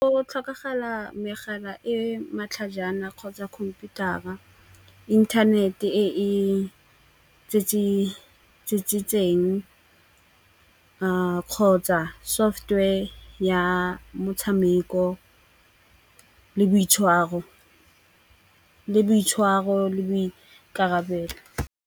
Go tlhokagala megala e matlhajana kgotsa khomputara, inthanete e e tsitsitseng kgotsa software ya motshameko le boitshwaro le boikarabelo.